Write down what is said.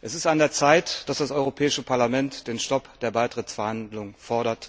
Es ist an der Zeit, dass das Europäische Parlament den Stopp der Beitrittsverhandlungen fordert.